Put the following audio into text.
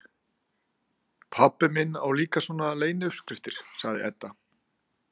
Pabbi minn á líka svona leyniuppskriftir, sagði Edda.